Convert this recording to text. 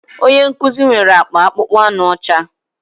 Onye nkuzi nwere akpa akpụkpọ anụ ọcha